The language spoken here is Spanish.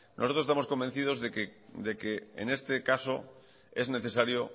nosotros estamos convencidos de que en este caso es necesario